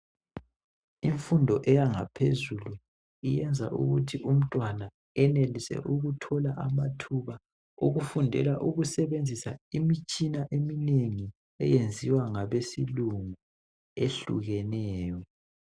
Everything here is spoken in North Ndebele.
Imfundo eyangaphezulu yenza ukuthi umntwana enelise ukuthola amathuba ukufundela ukusebenzisa imitshina esetshenziswa imitshina eminengi eyenziwa ngabesilungu, ehlukeneyo.